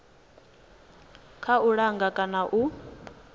kha u langa kana u